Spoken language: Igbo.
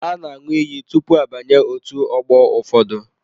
A na aṅụ iyi tụpụ abanye otú ọgbọ ụfọdụ.